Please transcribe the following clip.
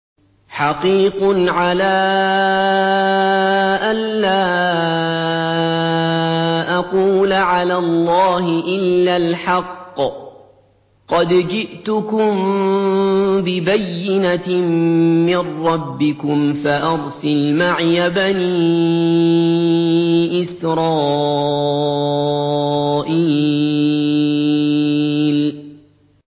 حَقِيقٌ عَلَىٰ أَن لَّا أَقُولَ عَلَى اللَّهِ إِلَّا الْحَقَّ ۚ قَدْ جِئْتُكُم بِبَيِّنَةٍ مِّن رَّبِّكُمْ فَأَرْسِلْ مَعِيَ بَنِي إِسْرَائِيلَ